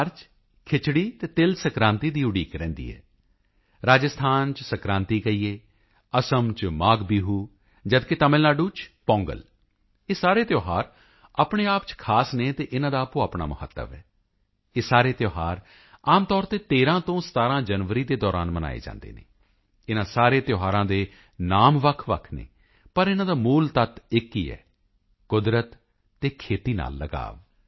ਬਿਹਾਰ ਚ ਖਿਚੜੀ ਅਤੇ ਤਿਲ ਸੰਕ੍ਰਾਂਤੀ ਦੀ ਉਡੀਕ ਰਹਿੰਦੀ ਹੈ ਰਾਜਸਥਾਨ ਚ ਸੰਗ੍ਰਾਂਦ ਕਹੀਏ ਅਸਮ ਚ ਮਾਘਬਿਹੂ ਜਦ ਕਿ ਤਾਮਿਲਨਾਡੂ ਪੋਂਗਲ ਇਹ ਸਾਰੇ ਤਿਓਹਾਰ ਆਪਣੇ ਆਪ ਚ ਖਾਸ ਹਨ ਅਤੇ ਇਨ੍ਹਾਂ ਦਾ ਆਪੋ ਆਪਣਾ ਮਹੱਤਵ ਹੈ ਇਹ ਸਾਰੇ ਤਿਓਹਾਰ ਆਮ ਤੌਰ ਤੇ 13 ਤੋਂ 17 ਜਨਵਰੀ ਦੇ ਦੌਰਾਨ ਮਨਾਏ ਜਾਂਦੇ ਹਨ ਇਨ੍ਹਾਂ ਸਾਰੇ ਤਿਓਹਾਰਾਂ ਦੇ ਨਾਮ ਵੱਖਵੱਖ ਹਨ ਪਰ ਇਨ੍ਹਾਂ ਦਾ ਮੂਲ ਤੱਤ ਇੱਕ ਹੀ ਹੈ ਕੁਦਰਤ ਅਤੇ ਖੇਤੀ ਨਾਲ ਲਗਾਵ